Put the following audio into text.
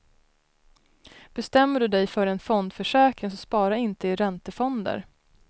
Bestämmer du dig för en fondförsäkring så spara inte i räntefonder.